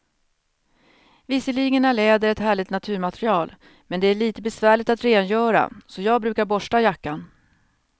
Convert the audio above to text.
Visserligen är läder ett härligt naturmaterial, men det är lite besvärligt att rengöra, så jag brukar borsta jackan.